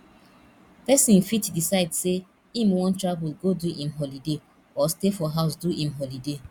persin fit decide say im won travel go do im holiday or stay for house do im holiday